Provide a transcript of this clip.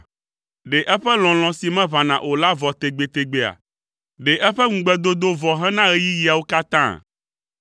Ɖe eƒe lɔlɔ̃ si meʋãna o la vɔ tegbetegbea? Ɖe eƒe ŋugbedodo vɔ hena ɣeyiɣiawo katã?